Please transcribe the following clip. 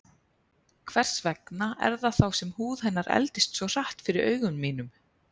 Hvers vegna er það þá sem húð hennar eldist svo hratt fyrir augum mínum?